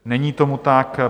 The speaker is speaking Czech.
Není tomu tak.